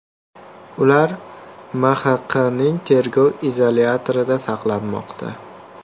Ular MXQning tergov izolyatorida saqlanmoqda.